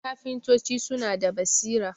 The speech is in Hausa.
kafintoci suna da basira